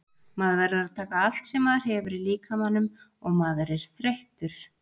Maður verður að taka allt sem maður hefur í líkamanum og maður er þreyttur.